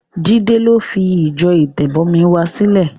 Jídé yìí ló fi ìjọ Ìtẹ̀bọmi wa sílẹ̀.